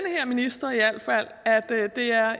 minister ved at det er